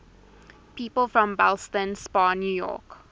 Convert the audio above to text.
people from ballston spa new york